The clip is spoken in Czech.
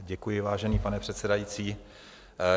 Děkuji, vážený pane předsedající.